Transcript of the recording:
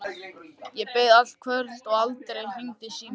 Ég beið allt kvöldið og aldrei hringdi síminn.